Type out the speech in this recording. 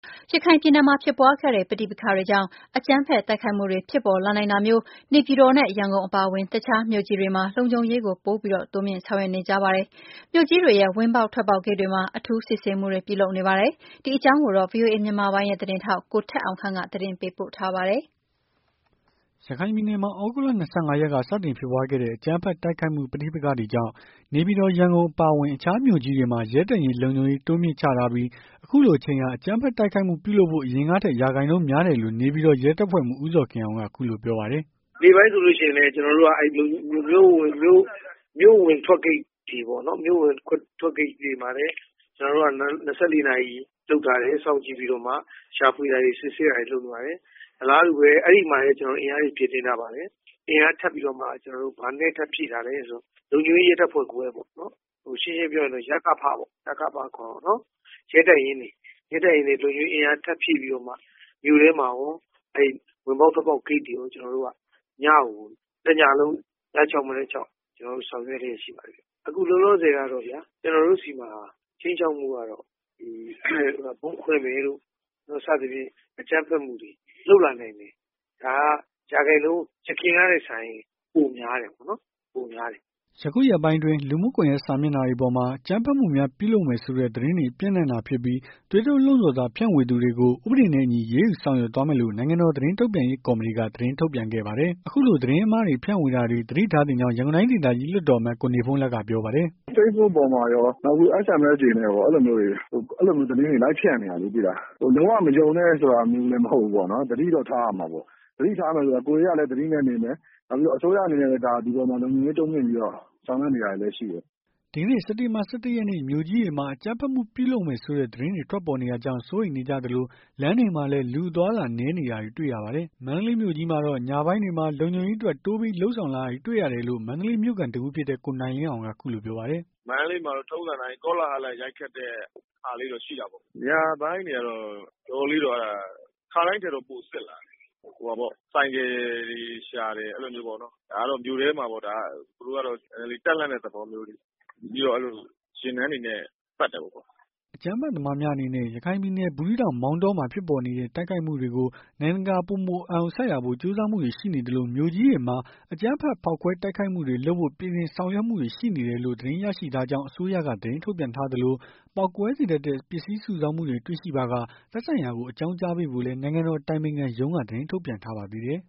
ရခိုင်ပြည်နယ်မှာဖြစ်ပွားခဲ့တဲ့ ပဋိပက္ခတွေကြောင့် အကြမ်းဖက်တိုက်ခိုက်မှုတွေဖြစ်ပေါ်လာနိုင်တာမျိုး နေပြည်တော် ရန်ကုန်အပါအဝင် အခြားမြို့ကြီးတွေမှာ လုံခြုံရေးကိုပိုပြီးတိုးမြှင့်ဆောင်ရွက်နေကြပါတယ်။ မြို့ကြီးတွေရဲ့ ဝင်ပေါက်ထွက်ပေါက်ဂိတ်တွေမှာ အထူးစစ်ဆေးမှုတွေပြုလုပ်နေတာပါ။ ဒီအကြောင်းကို ဗွီအိုအေမြန်မာပိုင်းသတင်းထောက် ကိုထက်အောင်ခန့်က သတင်းပေးပို့ထားပါတယ်။ ရခိုင်ပြည်နယ်မှာ သြဂုတ်လ ၂၅ ရက်က စတင်ဖြစ်ပွားခဲ့တဲ့ အကြမ်းဖက်တိုက်ခိုက်မှုပဋိပက္ခတွေကြောင့် နေပြည်တော် ရန်ကုန်အပါအဝင် အခြားမြို့ကြီးတွေမှာ ရဲတပ်ရင်းလုံခြုံရေးတိုးမြှင့်ချထားပြီး အခုလိုအချိန်ဟာ အကြမ်းဖက်တိုက်ခိုက်မှု ပြုလုပ်ဖို့ အရင်ကထက် ရာခိုင်နှုန်းများတယ်လို့ နေပြည်တော် ရဲတပ်ဖွဲ့မှူး ဦးဇော်ခင်အောင်က အခုလိုပြောပါတယ်။ "နေ့ပိုင်းဆိုလို့ရှိရင်လည်း လုံခြုံရေးကမြို့အဝင်ထွက်ဂိတ်တွေပေါ့နော် မြို့အဝင်အထွက်ဂိတ်တွေမှာလည်း ကျွန်တော်တို့က ၂၄ နာရီ လုပ်ထားတယ်စောင့်ကြည့််ပြီးတော့မှ ရှာဖွေတာတွေစစ်ဆေးတာတွေလုပ်ထားတယ်။ အလားတူပဲ အဲ့မှာလည်းကျွန်တော်တို့အင်အားတွေဖြည့်တင်းထားပါတယ်။ အင်အားထပ်ပြီးတော့မှ ဘာနဲ့ထပ်ဖြည့်ထားလည်းဆိုရင် လုံခြုံရေးရဲတပ်ဖွဲ့ခွဲ ရှင်းရှင်းပြောရင် ရကဖပေါ့ ရဲတပ်ရင်းတွေ၊ လုံခြုံရေးအင်အား ထပ်ဖြည့်ပြီးတော့မှ မြို့ထဲမှာကော ဝင်ပေါက်ထွက်ပေါက် ဂိတ်တွေကော ကျွန်တော်တို့က ညကိုတညလုံး မနက် ၆ ည ၆ ကျွန်တော်တို့ဆောင်ရွက်လျက်ရှိပါတယ်။ အခုလောလောဆယ်ကတော့ ကျွန်တော်တို့ဆီမှာ ခြိမ်းခြောက်မှုကတော့ ဒီဗုံးခွဲမယ်လို့ စသည်ဖြင့် အကြမ်းဖက်မှုတွေလုပ်လာနိုင်တယ်။ ဒါက ရာခိုင်နှုန်း ယခင်ကထက်စာရင် ပိုများတယ်ပေါ့နော်။ ပိုများတယ်။" ယခုရက်ပိုင်းအတွင်း လူမှုကွန်ယက်စာမျက်နှာတွေပေါ်မှာ အကြမ်းဖက်မှုများပြုလုပ်မယ်ဆိုတဲ့ သတင်းတွေ ပျံ့နှံ့တာဖြစ်ပြီး သွေးထိုးလှုံ့ဆော်စာဖြန့်ဝေသူတွေကို ဥပဒေနဲ့အညီ အရေးယူ ဆောင်ရွက်သွားမယ်လို့ နိုင်ငံတော်သတင်းထုတ်ပြန်ရေးကော်မတီက သတင်းထုတ်ပြန်ခဲ့ပါတယ်။ အခုလို သတင်းအမှားတွေ ဖြန့်ဝေတာတွေ သတိထားသင့်ကြောင်း ရန်ကုန်တိုင်းဒေသကြီး လွှတ်တော်အမတ် ကိုနေဖုန်းလတ်က ပြောပါတယ်။ "Facebook တွေပေါ်မှာကော SMS တွေနဲ့ကော အဲ့လိုမျိုးတွေ အဲ့လိုမျိုးသတင်းတွေလိုက်ဖြန့်နေတာလေ သိလား။ လုံးဝမယုံနဲ့ဆိုတာမျိုးလည်း မဟုတ်ဘူးပေါ့။ သတိတော့ထားရမှာပေါ့။ သတိထားရမယ်ဆိုတာ ကိုယ်တွေကလည်း သတိနဲ့နေမယ်။ နောက်ပြီးတော့ အစိုးရအနေနဲ့လည်း ဒီအပေါ်မှာလုံခြုံရေးတိုးမြှင့်ပြီး ဆောင်ရွက်နေတာတွေလည်းရှိတယ်။" ဒီကနေ့ စက်တင်ဘာ ၁၁ ရက်နေ့ မြို့ကြီးတွေမှာ အကြမ်းဖက်မှုပြုလုပ်မယ်ဆိုတဲ့သတင်းတွေ ထွက်ပေါ်နေတာကြောင့် စိုးရိမ်နေကြသလို လမ်းတွေမှာလည်း လူအသွားအလာနည်းနေတာတွေတွေ့ရပါတယ်။ မန္တလေးမြို့မြို့ကြီးမှာတော့ ညပိုင်းတွေမှာလုံခြုံရေးအတွက်တိုးပြီးလုပ်ဆောင်လာတာတွေ့ရတယ်လို့ မန္တလေးမြို့ခံတစ်ဦးဖြစ်တဲ့ ကိုနိုင်လင်းအောင်က အခုလိုပြောပါတယ်။ "မန္တလေးမှာ ထုံးစံအတိုင်းကောလဟာလ ရိုက်ခတ်တာလေးတွေတော့ရှိတာပေါ့။ ညပိုင်းတွေကတော့ တော်တော်လေး ခါတိုင်းထက်ပိုစစ်လာတယ်။ ဆိုင်ကယ်တွေရှာတယ်။ အဲ့လိုမျိုးပေါ့။ ဒါကတော့မြို့ထဲမှာ သူတို့က နည်းနည်းလေး တပ်လှန့်တဲ့သဘောမျိုးပေါ့။ ပြီးတော့ ယာဉ်တန်းတွေနဲ့ ပတ်တယ်ပေါ့။" အကြမ်းဖက်သမားများအနေနဲ့ ရခိုင်ပြည်နယ် ဘူးသီးတောင်မောင်တောမှာဖြစ်ပေါ်နေတဲ့ တိုက်ခိုက်မှုတွေကို နိုင်ငံတကာက ပိုမိုအာရုံစိုက်လာဖို့ ကြိုးစားမှုတွေရှိသလို မြို့ကြီးတွေမှာ အကြမ်းဖက်ဖောက်ခွဲတိုက်ခိုက်မှုတွေလုပ်ဖို့ ပြင်ဆင်ဆောင်ရွက်မှုတွေရှိနေတယ်လို့ သတင်းရရှိထားကြောင်း အစိုးရကသတင်းထုတ်ပြန်ထားသလို ပေါက်ကွဲစေတတ်တဲ့ ပစ္စည်းစုဆောင်းမှုတွေ့ရှိပါက သက်ဆိုင်ရာကို အကြောင်းကြားပေးဖို့လည်း နိုင်ငံတော်အတိုင်းပင်ခံရုံးက သတင်းထုတ်ပြန်ထားပါသေးတယ်